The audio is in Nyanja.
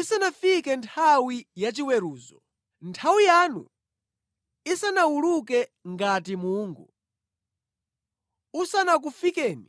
isanafike nthawi yachiweruzo, nthawi yanu isanawuluke ngati mungu, usanakufikeni